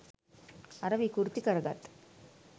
අර විකෘති කරගත්